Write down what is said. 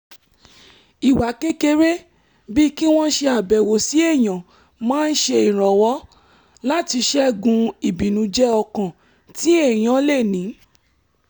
ìwà kékeré bíi kí wọ́n ṣe àbẹ̀wò sí èèyàn máa ń ṣe ìrànwọ́ láti ṣẹ́gun ibìnújẹ́-ọkàn tí èèyàn lè ní